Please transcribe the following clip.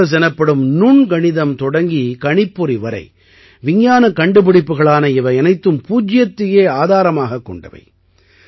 calculus எனப்படும் நுண்கணிதம் தொடங்கி கணிப்பொறி வரை விஞ்ஞானக் கண்டுபிடிப்புகளான இவையனைத்தும் பூஜ்யத்தையே ஆதாரமாகக் கொண்டவை